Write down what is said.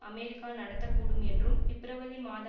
America நடத்த கூடும் என்றும் பிப்ரவரி மாத